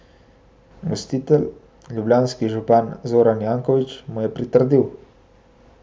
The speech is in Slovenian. Gostitelj, ljubljanski župan Zoran Janković, mu je pritrdil.